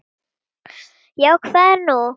Já, hvað er nú?